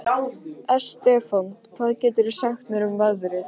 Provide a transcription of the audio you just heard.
Estefan, hvað geturðu sagt mér um veðrið?